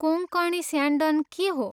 कोँकणी स्यान्डन के हो?